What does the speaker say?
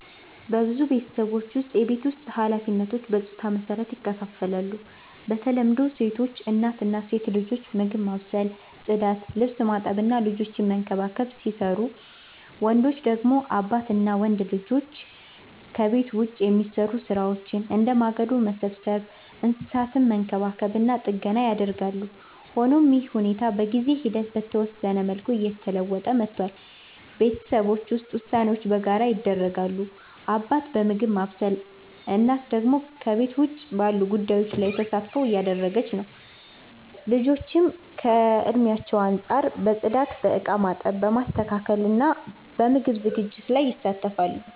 በብዙ ቤተሰቦች ውስጥ የቤት ውስጥ ኃላፊነቶች በጾታ መሰረት ይከፋፈላሉ። በተለምዶ ሴቶች (እናት እና ሴት ልጆች) ምግብ ማብሰል፣ ጽዳት፣ ልብስ ማጠብ እና ልጆችን መንከባከብ ሲሰሩቡ፣ ወንዶች (አባት እና ወንድ ልጆች) ደግሞ ከቤት ውጭ የሚሰሩ ሥራዎችን፣ እንደ ማገዶ መሰብሰብ፣ እንስሳትን መንከባከብ እና ጥገና ያደርጋሉ። ሆኖም ይህ ሁኔታ በጊዜ ሂደት በተወሰነ መልኩ እየተለወጠ መጥቷል። ቤተሰቦች ውስጥ ውሳኔዎች በጋራ ይደረጋሉ፤ አባት በምግብ ማብሰል፣ እናት ደግሞ ከቤት ውጭ ባሉ ጉዳዮች ላይ ተሳትፎ እያደረገች ነው። ልጆችም ከእድሜያቸው አንጻር በጽዳት፣ በእቃ ማጠብ፣ ማስተካከል እና በምግብ ዝግጅት ላይ ይሳተፋሉ።